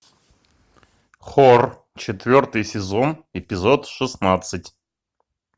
хор четвертый сезон эпизод шестнадцать